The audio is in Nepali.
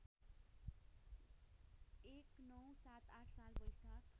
१९७८ साल वैशाख